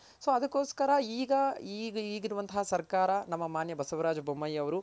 so ಅದ್ಕೊಸ್ಕರ ಈಗ ಈಗಿರುವಂತಹ ಸರ್ಕಾರ ನಮ್ಮ ಮಾನ್ಯ ಬಸವರಾಜ್ ಬೊಮ್ಮಾಯಿ ಅವ್ರು